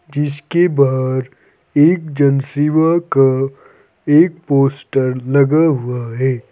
जिसके बाहर एक जन सेवा का एक पोस्टर लगा हुआ है।